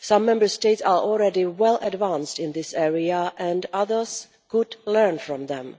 Some Member States are already well advanced in this area and others could learn from them.